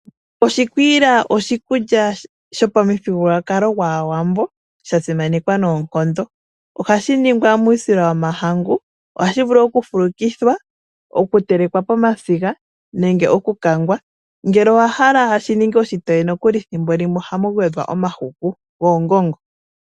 Oshikwiila oshikulya shopa mu thigululwakalo gwaawambo , shasimanekwa noonkondo. ohashi ningwa muusila womahangu, ohashi vulu oku fulukithwa ,okutelekwa pomasiga nenge okukangwa. ngele owahala shininge oshitoye nokuli thimbo limwe ohamu gwedhwa omahuku goongongo.